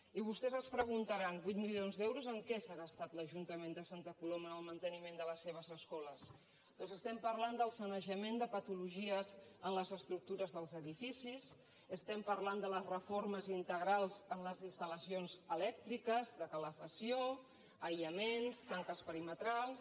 i vostès es deuen preguntar vuit milions d’euros en què s’ha gastat l’ajuntament de santa coloma en el manteniment de les seves escoles doncs estem parlant del sanejament de patologies en les estructures dels edificis estem parlant de les reformes integrals en les instal·lacions elèctriques de calefacció aïllaments tanques perimetrals